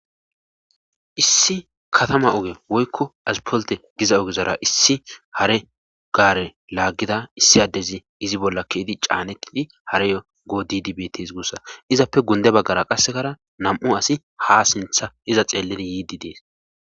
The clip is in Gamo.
Issi katama oge woykko aspolte giza ogezara issi hare gaare laaggida issi addezi izi bolla keidi caanettidi hareyo goo didibts guussa izappe gunde baggara qassekara nam7u asi ha sintha iza xeelledi yiidi dees